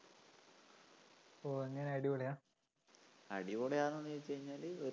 ഓ എങ്ങിനെ അടിപൊളിയാ? അടിപൊളിയാണോന്നു ചോദിച്ചു കഴിഞ്ഞാല്‍